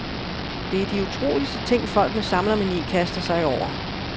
Det er de utroligste ting, folk med samlermani kaster sig over.